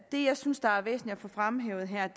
det jeg synes der er væsentlig at få fremhævet her